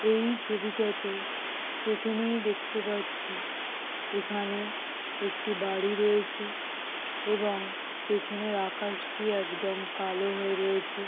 এই ছবিটাতে প্রথমেই দেখতে পাচ্ছি এখানে একটি বাড়ি রয়েছে এবং পেছনের আকাশটি একদম কালো হয়ে রয়েছে ।